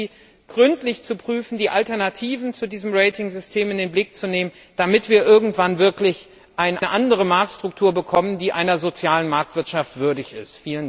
Ich bitte Sie, gründlich zu prüfen, die Alternativen zu diesem Ratingsystem in den Blick zu nehmen, damit wir irgendwann wirklich eine andere Marktstruktur bekommen, die einer sozialen Marktwirtschaft würdig ist.